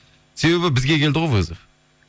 себебі бізге келді ғой вызов